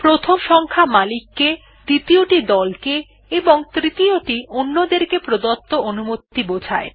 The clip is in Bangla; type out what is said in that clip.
প্রথম সংখ্যা মালিক কে দ্বিতীয়টি দল কে এবং তৃতীয়টি অন্যদের কে প্রদত্ত অনুমতি বোঝায়